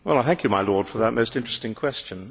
Thank you, my Lord, for that most interesting question.